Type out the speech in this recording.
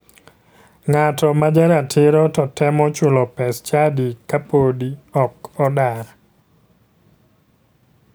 Ng'ato ma jaratiro to temo chulo pes chadi ka podi ok odar.